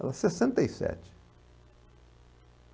Ela, sessenta e sete.